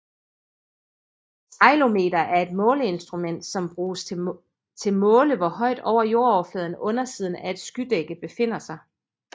Ceilometer er et måleinstrument som bruges til måle hvor højt over jordoverfladen undersiden af et skydække befinder sig